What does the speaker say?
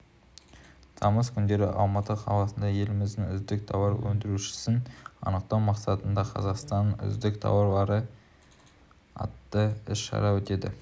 тамыз күндері алматы қаласында еліміздің үздік тауар өндірушісін анықтау мақсатында қазақстанның үздік тауары атты іс-шара өтеді